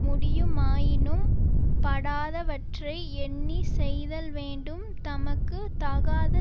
முடியுமாயினும் படாதவற்றை எண்ணி செய்தல் வேண்டும் தமக்கு தகாத